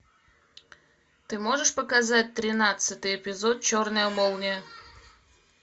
ты можешь показать тринадцатый эпизод черная молния